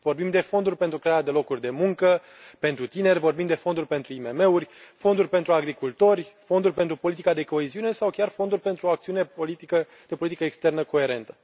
Vorbim de fonduri pentru crearea de locuri de muncă pentru tineri, vorbim de fonduri pentru IMM uri, fonduri pentru agricultori, fonduri pentru politica de coeziune sau chiar fonduri pentru o acțiune de politică externă coerentă.